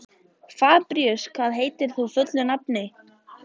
Fabrisíus, hvað heitir þú fullu nafni?